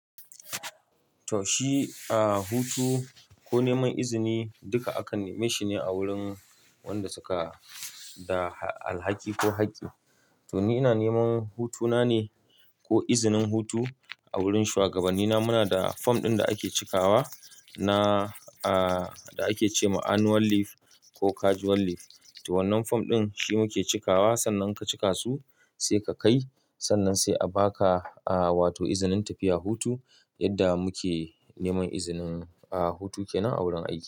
Toh shi, a hutu ko neman izini duka aka neme shi ne a wurin wanda suka da alhaki ko haƙƙi. To ni ina neman hutu na ne ko izinin hutu a wurin shuwagabanni na. Muna da fom ɗin da ake cikawa na, a, da ake ce ma annual leave ko casual leave. To wannan fom ɗin shi muke cikawa. Sannan ka cika su sai ka kai. Sannan sai a baka, a, wato izinin tafiya hutu. Yadda muke neman izinin, a, hutu kenan a wurin aiki.